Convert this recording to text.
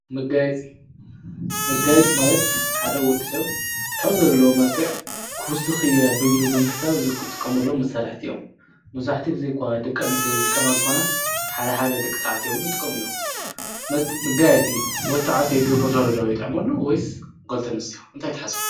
መጋየፂ መጋየፂ ማለት ሓደ ወዲ ሰብ ካብ ዘለዎ መልክዕ ክውስክ እየ ኣሉ ብምሕሳብ ካብ ዝጥቀመሎም መሳርሕቲ እዮም፡፡ መብዛሕትኡ ግዜ እኳ ደቂ ኣነስትዮ ዝጥቀማሉ እንተኮና ሓደሓደ ደቂ ተባዕትዮ እውን ይጥቀሙ እዮም፡፡ መጋየፂ ወዲ ተባዕታይ ክገብር ከሎ ዶ የጥዕመሉ ወይስ ደቂ ኣነስትዮ እንታይ ትሓስቡ?